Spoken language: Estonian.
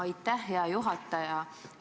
Aitäh, hea juhataja!